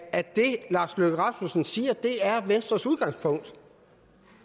at det lars løkke rasmussen siger er venstres udgangspunkt